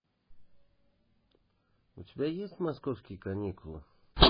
у тебя есть московские каникулы